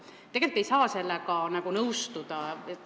Tegelikult ei saa sellega nõustuda.